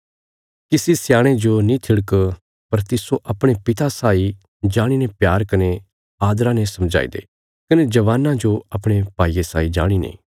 किसी सयाणे जो नीं थिड़क पर तिस्सो अपणे पिता साई जाणीने प्यार कने आदरा ने समझाई दे कने जवानां जो अपणे भाईये साई जाणीने